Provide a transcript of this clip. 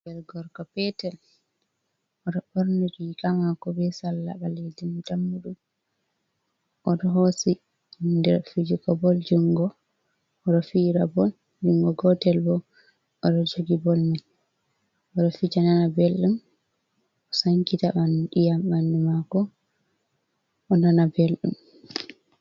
Ɓinngel gorgo peetel, o ɗo ɓorni riiga maako be salla ɓaleejum, dammuɗum. O ɗo hoosi kuje fijigo bol junngo, o ɗo fira bol, junngo gootel bo, o ɗo jogi bol man. O ɗo fija nana belɗum, o sankita ƴii''am ɓanndu maako, o nana belɗum.